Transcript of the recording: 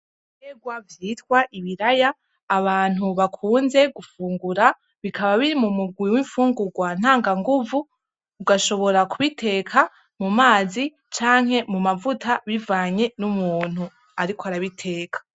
Begwa vyitwa ibiraya abantu bakunze gufungura bikaba biri mu mugwi w'imfungurwa ntanga nguvu ugashobora kubiteka mu mazi canke mu mavuta bivanye n'umuntu, ariko arabiteka.